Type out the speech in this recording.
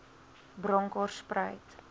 bronkhorspruit